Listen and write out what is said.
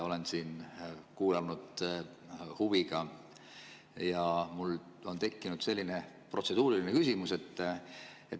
Olen siin kuulanud huviga ja mul on tekkinud selline protseduuriline küsimus.